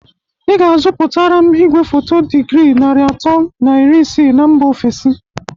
Ị ga-azụpụtara m igwefoto dịgrị nari ato na iri isii na mba ofesi